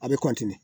A bɛ